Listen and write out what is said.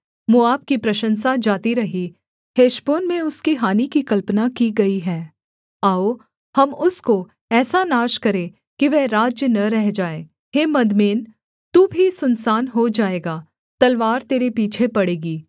मोआब की प्रशंसा जाती रही हेशबोन में उसकी हानि की कल्पना की गई है आओ हम उसको ऐसा नाश करें कि वह राज्य न रह जाए हे मदमेन तू भी सुनसान हो जाएगा तलवार तेरे पीछे पड़ेगी